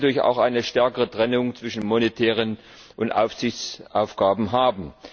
Wir wollen natürlich auch eine stärkere Trennung zwischen monetären und aufsichtlichen Aufgaben haben.